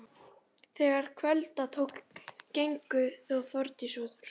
Íssól, hvernig verður veðrið á morgun?